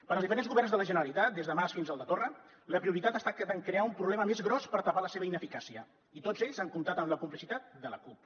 per als diferents governs de la generalitat des del de mas fins al de torra la prioritat ha estat de crear un problema més gros per tapar la seva ineficàcia i tots ells han comptat amb la complicitat de la cup